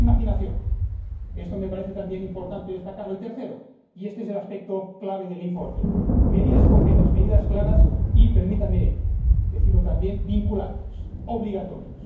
segundo, imaginación esto me parece también importante destacarlo y, tercero, y este es el aspecto clave del informe, medidas concretas, medidas claras y permítanme decirlo también, vinculantes, obligatorias.